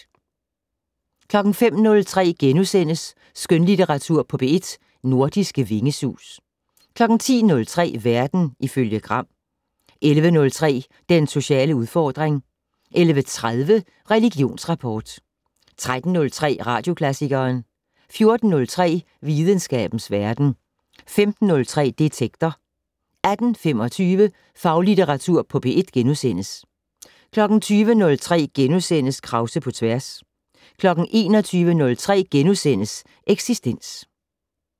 05:03: Skønlitteratur på P1 - nordiske vingesus * 10:03: Verden ifølge Gram 11:03: Den sociale udfordring 11:30: Religionsrapport 13:03: Radioklassikeren 14:03: Videnskabens Verden 15:03: Detektor 18:25: Faglitteratur på P1 * 20:03: Krause på tværs * 21:03: Eksistens *